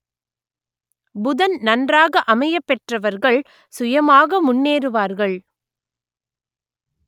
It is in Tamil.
புதன் நன்றாக அமையப் பெற்றவர்கள் சுயமாக முன்னேறுவார்கள்